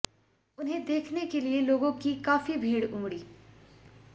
उन्हेें देखने के लिए लोगों की काफी भीड़ उमड़ी